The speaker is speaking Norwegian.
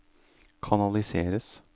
kanaliseres